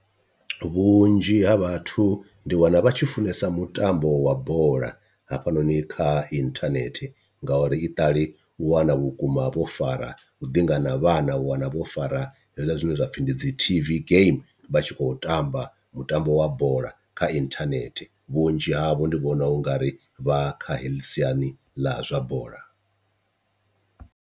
Vhunzhi ha vhathu ndi wana vha tshi funesa mutambo wa bola hafhanoni kha inthanethe, ngauri iṱali u wana vhukuma vho fara uḓinga na vhana u wana vho fara hezwiḽa zwine zwapfhi ndi dzi T_V game vha tshi khou tamba mutambo wa bola kha inthanethe, vhunzhi havho ndi vhona ungari vha kha heḽi siani ḽa zwa bola.